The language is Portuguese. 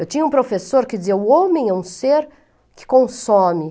Eu tinha um professor que dizia, o homem é um ser que consome.